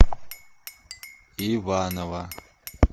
иваново